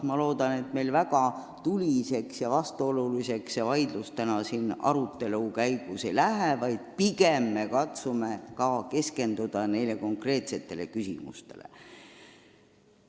Ma loodan, et meil täna väga tuliseks ja vastuoluliseks vaidluseks ei lähe, katsume pigem keskenduda nendele konkreetsetele küsimustele.